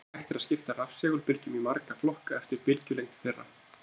Hægt er að skipta rafsegulbylgjum í marga flokka eftir bylgjulengd þeirra.